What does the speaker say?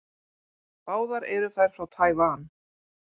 Báðar eru þær frá Tævan.